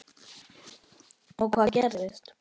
Og hvað gerist?